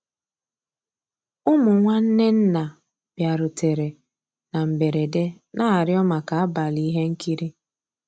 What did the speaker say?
Ụmụ́ nnwànné nná bìàrùtérè ná mbérèdé, ná-àrịọ́ màkà àbàlí íhé nkírí.